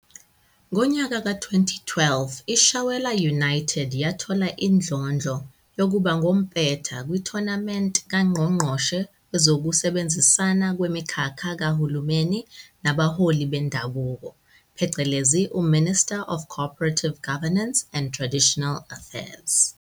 Ngonyaka ka 2012, iShawela United yathola indlondlo yokuba ngompetha kwithonamenti kaNgqongqoshe wezokusebenzisana kwemikhakha kahulumeni nabaholi bendabuko, pheceleni, u-Minister of Cooperative Governance and Traditional Affairs.